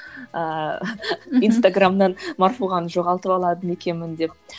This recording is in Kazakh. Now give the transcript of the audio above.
ыыы инстаграмнан марфуғаны жоғалтып алады ма екенмін деп